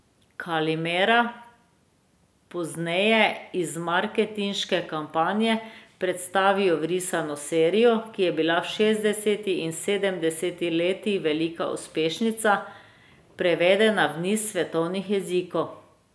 Kalimera pozneje iz marketinške kampanje prestavijo v risano serijo, ki je bila v šestdesetih in sedemdesetih letih velika uspešnica, prevedena v niz svetovnih jezikov.